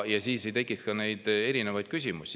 Siis ei tekiks ka neid erinevaid küsimusi.